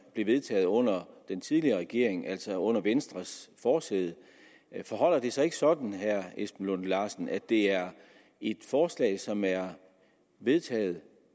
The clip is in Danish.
blev vedtaget under den tidligere regering altså under venstres forsæde forholder det sig ikke sådan herre esben lunde larsen at det er et forslag som er vedtaget